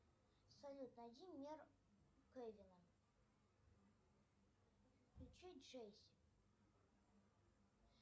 салют найди мне кевина включи джесси